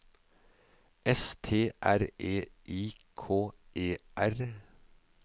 S T R E I K E R